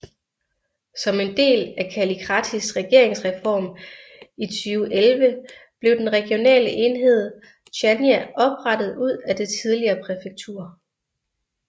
Som en del af Kallikratis regeringsreform i 2011 blev den regionale enhed Chania oprettet ud af det tidligere præfektur